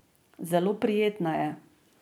Zelo prijetna je.